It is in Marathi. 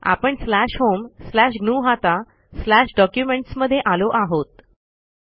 आपणslash होम स्लॅश ग्नुहता स्लॅश डॉक्युमेंट्स मध्ये आलो आहोत